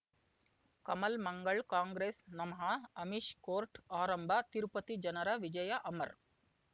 ಕಮಲ್ ಮಂಗಳ್ ಕಾಂಗ್ರೆಸ್ ನಮಃ ಅಮಿಷ್ ಕೋರ್ಟ್ ಆರಂಭ ತಿರುಪತಿ ಜನರ ವಿಜಯ ಅಮರ್